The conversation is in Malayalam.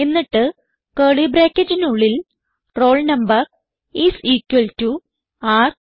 എന്നിട്ട് കർലി ബ്രാക്കറ്റിനുള്ളിൽ roll number is equal to r no